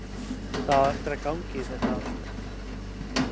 Það á eftir að ganga í þetta allt.